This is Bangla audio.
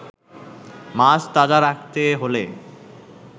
মাছ তাজা রাখতে হলে